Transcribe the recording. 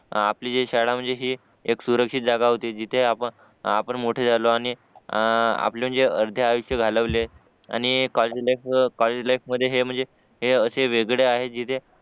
आपली जी शाळा म्हणजे हि एक सुरक्षित जागा होती जिथे आपण मोठे झालो आणि आ आपले जे अर्धे आयुष्य घालवले आणि कॉलेज लाईफ कॉलजे लाईफ मध्ये हे म्हणजे हे अशे वेगळे आहे जिथे